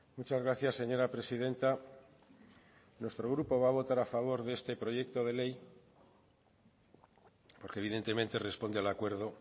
muchas gracias señora presidenta nuestro grupo va a votar a favor de este proyecto de ley porque evidentemente responde al acuerdo